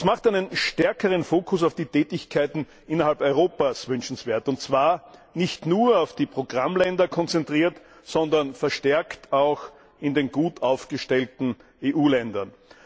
Das macht einen stärkeren Fokus auf die Tätigkeiten innerhalb Europas wünschenswert, und zwar nicht nur auf die Programmländer konzentriert, sondern verstärkt auch in den gut aufgestellten EU Ländern.